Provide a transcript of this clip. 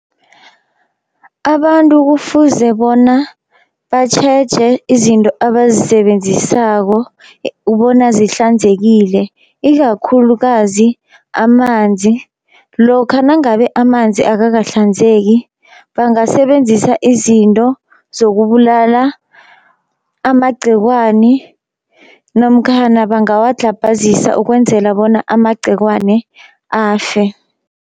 Abantu kufuze bona batjheje izinto abazisebenzisako bona zihlanzekile, ikakhulukazi amanzi. Lokha nangabe amanzi akakahlanzeki bangasebenzisa izinto zokubulala amagcekwani namkhana bangawadlhabhazisa ukwenzela bona amagcekwane afe.